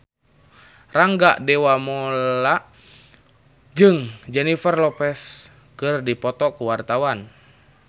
Rangga Dewamoela jeung Jennifer Lopez keur dipoto ku wartawan